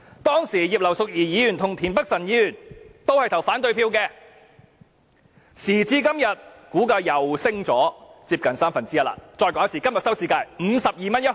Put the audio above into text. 當時葉劉淑儀議員和田北辰議員均投反對票，時至今日，股價再次上升接近三分之一，讓我再說一次，今天的收市價是 52.1 元。